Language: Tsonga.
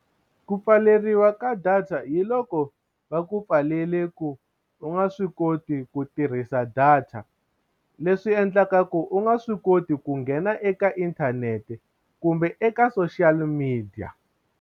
Ku pfaleriwa ka data hi loko va ku pfalele ku u nga swi koti ku tirhisa data leswi endlaka ku u nga swi koti ku nghena eka inthanete kumbe eka social media.